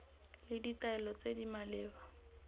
le ditaelo tse di maleba